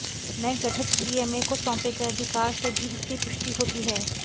नये गठित डीएमए को सौंपे गए अधिकार से भी इसकी पुष्टि होती है